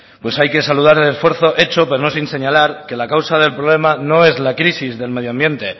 hay que saludar el esfuerzo hecho pero no sin señalar que la causa del problema no es la crisis del medioambiente